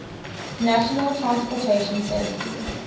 national transportation safety